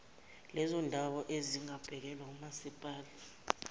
lezondawo ezingabhekelwe ngomasipala